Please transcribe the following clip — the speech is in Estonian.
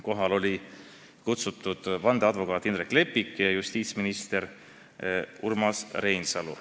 Kohale olid kutsutud ka vandeadvokaat Indrek Leppik ja justiitsminister Urmas Reinsalu.